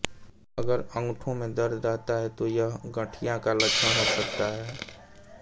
अगर अंगूठों में दर्द रहता है तो यह गठिया का लक्षण हो सकता है